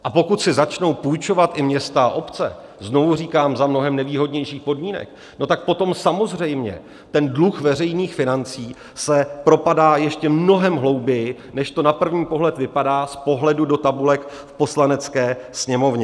A pokud si začnou půjčovat i města a obce - znovu říkám, za mnohem nevýhodnějších podmínek - no tak potom samozřejmě ten dluh veřejných financí se propadá ještě mnohem hlouběji, než to na první pohled vypadá z pohledu do tabulek v Poslanecké sněmovně.